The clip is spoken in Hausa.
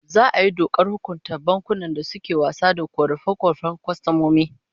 Za'a yi dokar hukunta bankunan da suke wasa da korafe-korafen kwastomomi